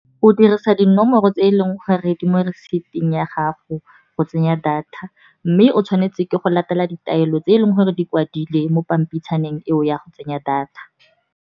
O dirisa dinomoro tse e leng gore di mo reciept ya gago, go tsenya data mme o tshwanetse ke go latela ditaelo tse e leng gore di kwadilwe mo pampitshana teng eo ya go tsenya data.